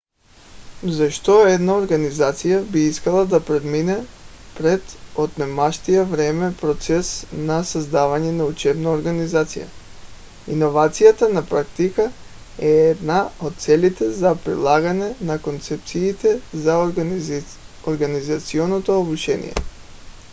защо една организация би искала да премине през отнемащия време процес на създаване на учебна организация? иновацията на практика е една от целите за прилагане на концепциите за организационно обучение